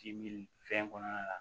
Ji mi fɛn kɔnɔna la